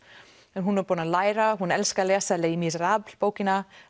en hún er búin að læra hún elskar að lesa les Miserables bókina